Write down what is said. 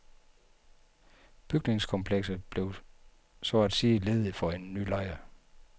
Bygningskomplekset bliver så at sige ledigt for en ny lejer.